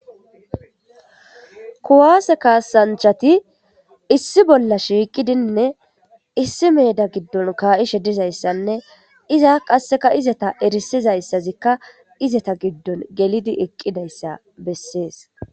kuwaase kaasanchati issi bolla shiiqidinne issi meeda giddon kaa'ishshe dizayssanne iza qasseka izata erisizayssazikka izeta giddon gelidi eqqidayssa bessees